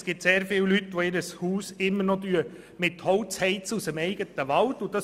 Es gibt sehr viele Leute, die ihr Haus immer noch mit Holz aus dem eigenen Wald heizen.